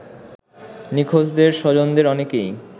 নিখোঁজদের স্বজনদের অনেকেই